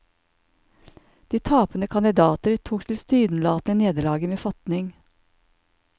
De tapende kandidater tok tilsynelatende nederlaget med fatning.